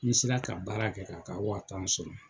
Ni n sera ka baara kɛ k'a ka wa tan sɔrɔ.